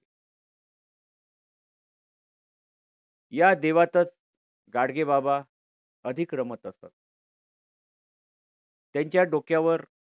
या देवातच गाडगेबाबा अधिक रमत असत. त्यांच्या डोक्यावर